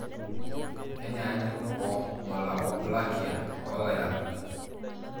Kenyanyuk wo malakoplakia oloirakuj.